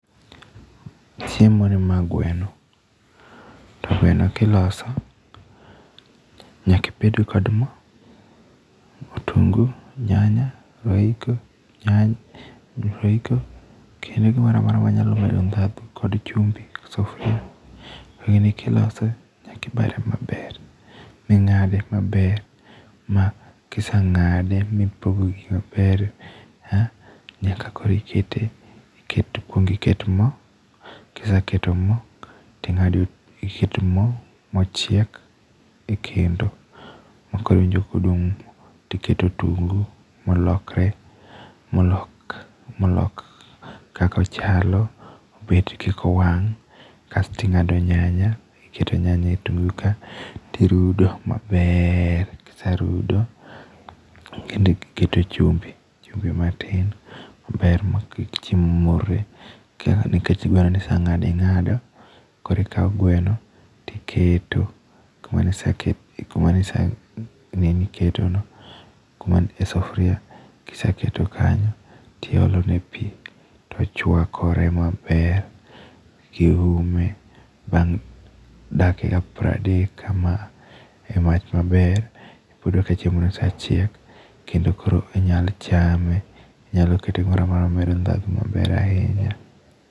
Chiemoni mae gweno to gweno ka iloso, nyaka ibed kod mo, otungu, nyanya, royco, kendo gimoro amora manyalo medo ndhadhu kod chumbi, gi sufuria. Gini ka iloso nyaka ipare maber, ming'ade maber ma ka iseng'ade ma ipoge gi maber , nyaka koro ikete iket kuong iket mo , kiseketo mo ting'ade kuong iket mo mochiek, ekendo maka iwinjo kodung to iketo otungu molok kaka ochalo bet kik wang, kas to ing'ado nyanya to irudo maber, kiserudo go iketo chumbi, chumbi matin, chumbi maber makik chiemo morre. Nikech gweno ne ise ng'ado ing'ado, koro ikawo gweno, to iketo kuma ne ka iseketo kanyo to iolone pi to ochuakore maber ka iume. Bang' dakika piero adek kama, emach maber iyudo ka chiemono ochiek kendo koro inyalo chame iketone gik mamedo ndhadhu maber ahinya.